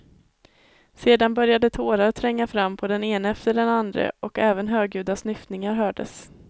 Sedan började tårar tränga fram på den ene efter andre och även högljudda snyftningar hördes.